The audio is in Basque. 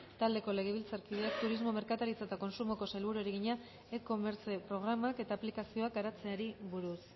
taldeko legebiltzarkideak turismo merkataritza eta kontsumoko sailburuari egina e commerce programak eta aplikazioak garatzeari buruz